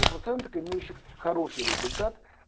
у процентов имеющих хороший результат